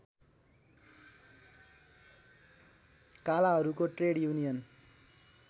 कालाहरूको trade union